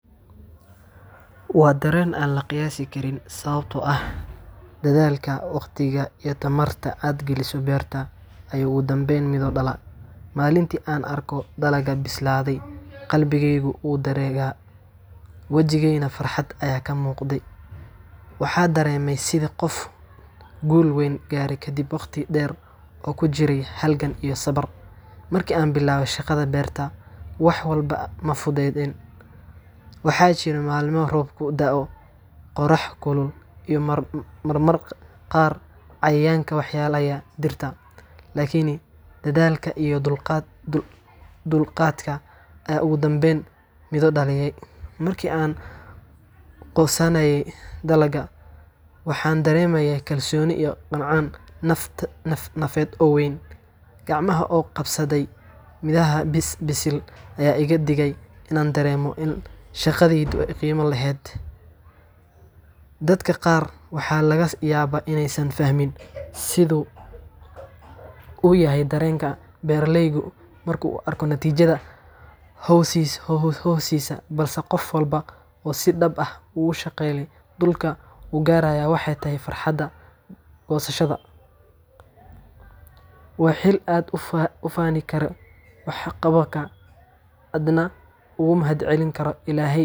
Waa dareen aan la qiyaasi karin, sababtoo ah dadaalka, wakhtiga, iyo tamarta aad gelisay beerta ayaa ugu dambayn midho dhalay. Maalintii aan araggo dalagga bislaaday, qalbigeygu wuu dheregay, wajigaygana farxad ayaa ka muuqday. Waxaa dareemayaa sidii qof guul weyn gaaray kadib waqti dheer oo uu ku jiray halgan iyo sabir. Markii aan bilaabay shaqada beerta, wax walba ma fududayn. Waxaa jiray maalmo roobku da'o, qorrax kulul, iyo marmarka qaar cayayaanka waxyeeleeya dhirta. Laakiin, dadaalka iyo dulqaadka ayaa ugu dambayn midho dhalay. Markii aan goosanayay dalagga, waxaan dareemayay kalsooni iyo qancin nafeed oo weyn. Gacmahayga oo qabsaday midhaha bisil ayaa iga dhigayay in aan dareemo in shaqadaydu ay qiimo leedahay. Dadka qaar waxa laga yaabaa inaysan fahmin sida uu yahay dareenka beeraleygu marka uu arko natiijada hawshiisa, balse qof walba oo si dhab ah ugu shaqeeyay dhulka wuu garanayaa waxa ay tahay farxadda goosashada. Waa xilli aad ku faani karto waxqabadkaaga, aadna ugu mahadcelin karto Ilaahay.